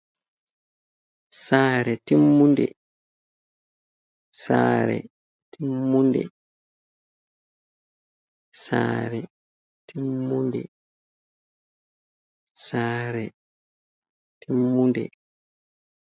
Saare temmunde. Saree timmunde. Saare timmunde. Saare timmunde.